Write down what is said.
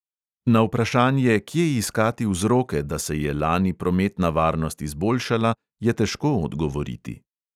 Na vprašanje, kje iskati vzroke, da se je lani prometna varnost izboljšala, je težko odgovoriti.